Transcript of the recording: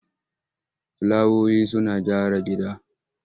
Filawoyi suna gyara gida.